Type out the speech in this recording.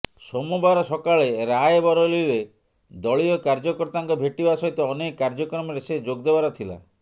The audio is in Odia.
ସୋମବାର ସକାଳେ ରାୟବରେଲୀରେ ଦଳୀୟ କାର୍ଯ୍ୟକର୍ତ୍ତାଙ୍କୁ ଭେଟିବା ସହିତ ଅନେକ କାର୍ଯ୍ୟକ୍ରମରେ ସେ ଯୋଗଦେବାର ଥିଲା